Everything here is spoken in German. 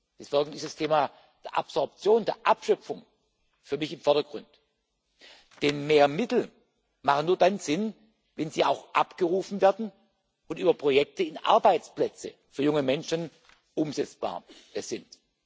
Deswegen steht dieses Thema der Absorption, der Abschöpfung, für mich im Vordergrund, denn mehr Mittel machen nur dann Sinn, wenn sie auch abgerufen werden und über Projekte in Arbeitsplätze für junge Menschen umsetzbar sind.